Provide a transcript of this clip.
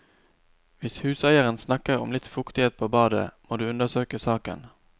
Hvis huseieren snakker om litt fuktighet på badet, må du undersøke saken.